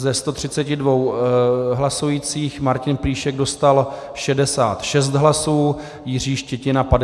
Ze 132 hlasujících Martin Plíšek dostal 66 hlasů, Jiří Štětina 54 hlasy.